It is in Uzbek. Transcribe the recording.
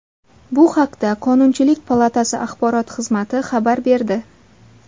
Bu haqda Qonunchilik palatasi axborot xizmati xabar berdi .